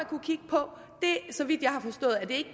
kunne kigge på så vidt jeg har forstået er det